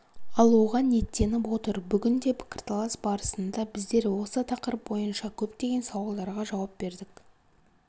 алуға ниеттеніп отыр бүгін де пікірталас барысында біздер осы тақырып бойынша көптеген сауалдарға жауап бердік